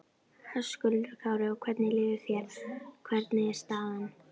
Höskuldur Kári: Og hvernig líður þér, hvernig er staðan?